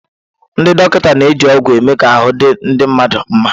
Ndị dọkịta na-eji ọgwụ eme ka ahụ́ di ndị mmadụ nma.